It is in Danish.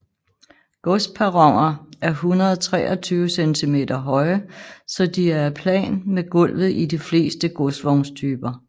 Godsperroner er 123 cm høje så de er plan med gulvet i de fleste godsvognstyper